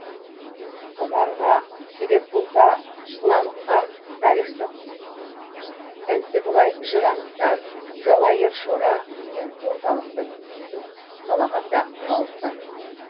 сонарға себеп болса қыламық қар тарихтық ізді былай жыр анықтар жалайыр шора деген орталықтың негізін қалаған да нұралықтар